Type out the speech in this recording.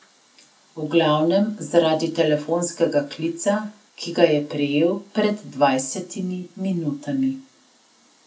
V glavnem zaradi telefonskega klica, ki ga je prejel pred dvajsetimi minutami.